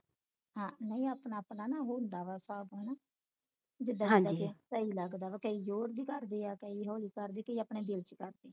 ਨਹੀਂ ਆਪਣਾ ਆਪਣਾ ਨਾ ਹੁੰਦਾ ਵਾ ਹਿਸਾਬ ਹਣਾ ਜਿੱਦਾ ਸਹੀ ਲੱਗਦਾ ਵਾ ਕਈ ਜੋਰ ਦੀ ਕਰਦੇ ਆ ਕਈ ਹੌਲੀ ਕਰਦੇ ਕਈ ਆਪਣੇ ਦਿਲ ਵਿਚ ਕਰਦੇ